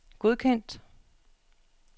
godkendt